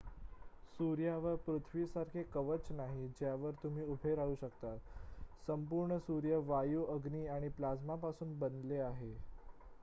सूर्यावर पृथ्वीसारखे कवच नाही ज्यावर तुम्ही उभे राहू शकता संपूर्ण सूर्य वायू अग्नी आणि प्लाझ्मापासून बनलेला आहे